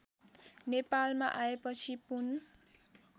नेपालमा आएपछि पून